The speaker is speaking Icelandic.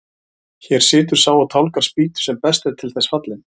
Hér situr sá og tálgar spýtu sem best er til þess fallinn.